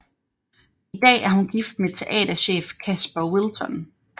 I dag er hun gift med teaterchef Kasper Wilton